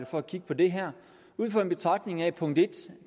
for at kigge på det her ud fra den betragtning at